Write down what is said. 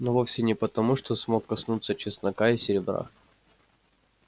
но вовсе не потому что смог коснуться чеснока и серебра